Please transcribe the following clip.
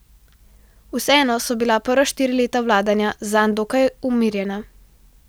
Vseeno so bila prva štiri leta vladanja zanj dokaj umirjena.